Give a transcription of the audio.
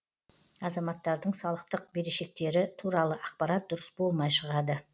азаматтардың салықтық берешектері туралы ақпарат дұрыс болмай шығады